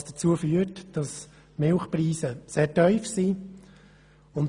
Das hat dazu geführt, dass die Milchpreise sehr tief sind.